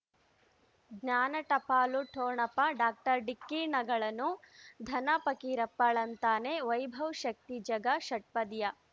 ಜ್ಞಾನ ಟಪಾಲು ಠೊಣಪ ಡಾಕ್ಟರ್ ಢಿಕ್ಕಿ ಣಗಳನು ಧನ ಪಕೀರಪ್ಪ ಳಂತಾನೆ ವೈಭವ್ ಶಕ್ತಿ ಝಗಾ ಷಟ್ಪದಿಯ